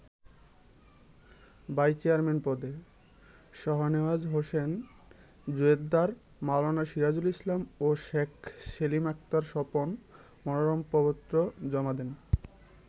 Vice chairman পদে শাহনেওয়াজ হোসেন জোয়ার্দ্দার, মাওলানা সিরাজুল ইসলাম ও শেখ সেলিম আক্তার স্বপন মনোনয়নপত্র জমা দেন।